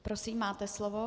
Prosím, máte slovo.